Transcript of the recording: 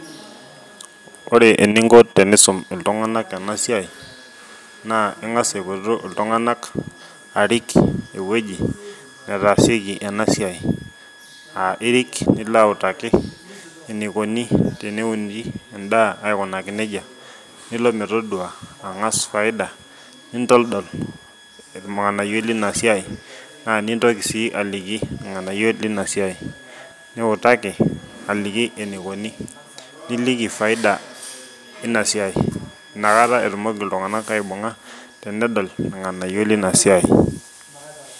Ore eninko tenisum iltungana ena siai naa ngas aipotu iltungana arik ewueji netasieki ena siai, aa irik nilo autaki enikoni teneuni edaa aikoji aikunaki nejia nilo metodua angas faida nitodol ilnganayio leina siai, naa nitoki si aliki ilnganayio leina siai, niutaki enikoni niliki faida ina siai, inakata etumoki iltungana aibunga tenedol ilnganayio leina siai.